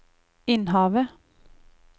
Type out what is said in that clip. Innhavet